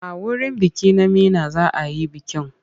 A wurin biki na Meena za a yi bikin.